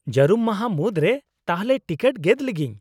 -ᱡᱟᱹᱨᱩᱢ ᱢᱟᱦᱟ ᱢᱩᱫᱨᱮ ᱛᱟᱦᱞᱮ ᱴᱤᱠᱤᱴ ᱜᱮᱫ ᱞᱤᱜᱤᱧ ?